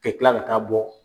Kɛ kila ka taa bɔ